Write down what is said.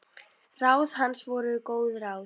Ráð hans voru góð ráð.